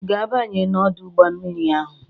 Ị ga-abanye n'ọdọ mmiri ahụ?